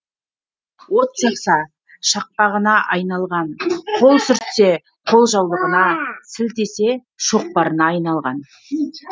от жақса шақпағына айналған қол сүртсе қолжаулығына сілтесе шоқпарына айналған